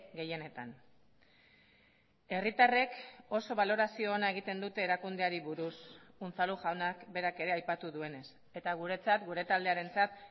gehienetan herritarrek oso balorazio ona egiten dute erakundeari buruz unzalu jaunak berak ere aipatu duenez eta guretzat gure taldearentzat